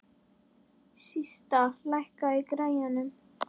Systa, lækkaðu í græjunum.